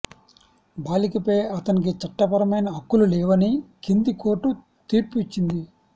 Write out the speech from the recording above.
బాలికపై అతనికి చట్టపరమైన హక్కులు లేవని కింది కోర్టు తీర్పు ఇచ్చింది